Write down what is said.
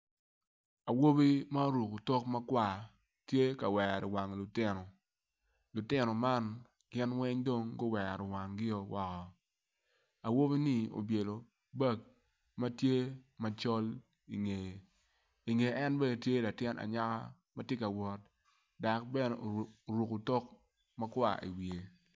Awobi ma oruko otok makwar tye ka wero wang lutino, lutino man gin weng dong guwero wangio woko awbini obyelo bag matye macol ingeye inge en bene tye latin anyaka matye ka wot dok bene oruko otok makwar i iwiye